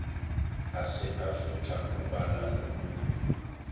aseafrika kubala nokuvulwa